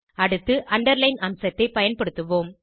அடுத்து அண்டர்லைன் அம்சத்தை பயன்படுத்துவோம்